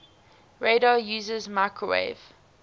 radar uses microwave